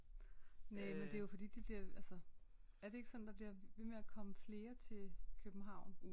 Næ men det er jo fordi de bliver altså er det ikke sådan der bliver ved med at komme flere til København